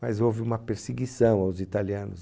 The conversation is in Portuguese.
Mas houve uma perseguição aos italianos.